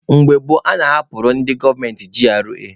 Mgbe gboo, a na-ahapụrụ ndị gọọmenti GRA.